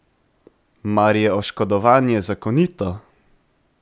Mar je oškodovanje zakonito?